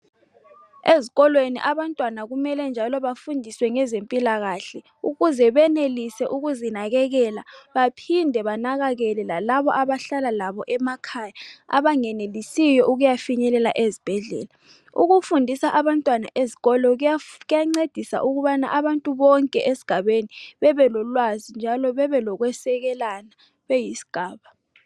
Ezikolweni abantwana kumele njalo bafundiswe ngezempilakahle ukuze benelise ukuzinakekela baphinde banakekele lalabo abahlala labo emakhaya abangenelisiyo ukuyafinyelela ezibhedlela. Ukufundisa abantwana ezikolo kuyancedisa ukubana abantu bonke esigabeni bebe lolwazi njalo bebe lokusekelana beyisigaba.